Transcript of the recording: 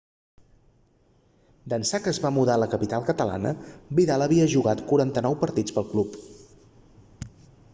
d'ençà que es va mudar a la capital catalana vidal havia jugat 49 partits pel club